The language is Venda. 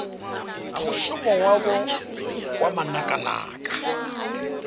na mushumo wavho wa manakanaka